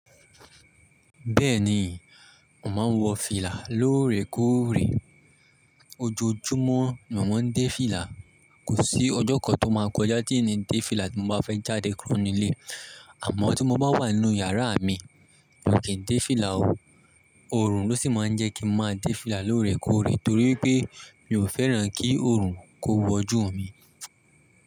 Bẹ́ẹ̀ni, mo màá ń wọ fìlà lóòrèkóòrè. Ojoojúmọ́ mo máa ń dé fìlà. Kò sí ọjọ́ kan tó máa kọjá tí n ni dé fìlà tí mo bá fẹ́ jáde kúrò nílé. Àmọ́ tí mo bá wà nínú yàrá mi, mi o kì n dé fìlà o. Òòrùn ló sì máa ń jẹ́ kí n máa dé fìlà lóòrèkóòrè torí wipé mi ò fẹ́ràn kí Òòrùn kó wọjú mi.